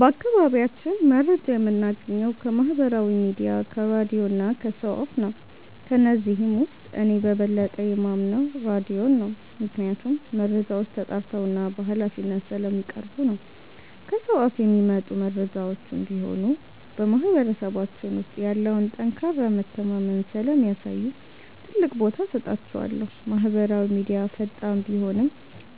በአካባቢያችን መረጃ የምናገኘው ከማህበራዊ ሚዲያ፣ ከራድዮ እና ከሰው አፍ ነው። ከነዚህም ውስጥ እኔ በበለጠ የማምነው ራድዮን ነው፤ ምክንያቱም መረጃዎች ተጣርተውና በሃላፊነት ስለሚቀርቡ ነው። ከሰው አፍ የሚመጡ መረጃዎችም ቢሆኑ በማህበረሰባችን ውስጥ ያለውን ጠንካራ መተማመን ስለሚያሳዩ ትልቅ ቦታ እሰጣቸዋለሁ። ማህበራዊ ሚዲያ ፈጣን ቢሆንም፣